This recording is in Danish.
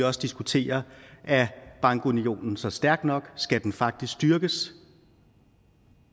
også diskutere er bankunionen så stærk nok skal den faktisk styrkes